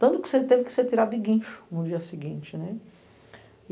Tanto que você teve que ser tirado de guincho no dia seguinte.